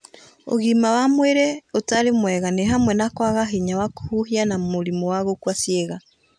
Ũgima wa mwĩrĩ ũtarĩ mwega nĩ hamwe na kwaga hinya wa kũhuhia na mũrimũ wa gũkua ciĩga.